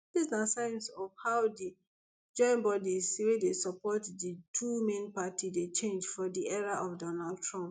dis na sign of how di joinbodies wey dey support di two main party dey change for di era of donald trump